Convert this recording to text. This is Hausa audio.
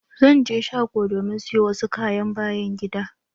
Zan je shgo domin siyo wasu kayan byan gida.